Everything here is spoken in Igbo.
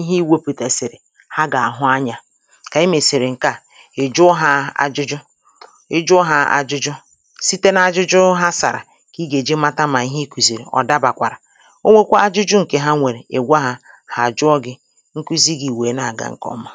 ihe ị wepụ̀tèsị̀rì ha gà àhụ anyā kà ị mèsị̀rì ǹkè a ị̀ jụọ hā ajụjụ ị jụọ hā ajụjụ site na ajụjụ ha sàrà kà ị gà-èji mata mà ihe ị kụ̀zìrì ọ̀ dabàkwàrà o nwekwa ajụjụ ǹkè ha nwèrè ị̀ gwa hā hà àjụọ gị̄ nkụzi gị̄ wèe na-àga ǹkè ọma